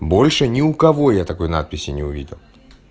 больше ни у кого я такой надписи не увидел